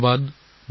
নমস্কাৰ